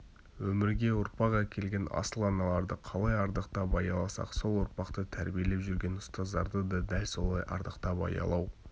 өмірге ұрпақ әкелген асыл аналарды қалай ардақтап аяласақ сол ұрпақты тәрбиелеп жүрген ұстаздарды да дәл солай ардақтап аялау